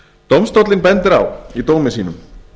dómstóllinn bendir á í dómi sínum